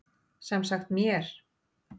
Sem sagt mér.